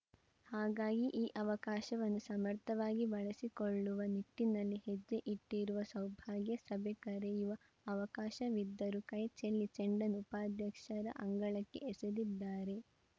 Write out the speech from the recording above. ಹಾಗಾಗಿ ಈ ಅವಕಾಶವನ್ನು ಸಮರ್ಥವಾಗಿ ಬಳಸಿಕೊಳ್ಳುವ ನಿಟ್ಟಿನಲ್ಲಿ ಹೆಜ್ಜೆ ಇಟ್ಟಿರುವ ಸೌಭಾಗ್ಯ ಸಭೆ ಕರೆಯುವ ಅವಕಾಶವಿದ್ದರೂ ಕೈ ಚೆಲ್ಲಿ ಚೆಂಡನ್ನು ಉಪಾಧ್ಯಕ್ಷರ ಅಂಗಳಕ್ಕೆ ಎಸೆದಿದ್ದಾರೆ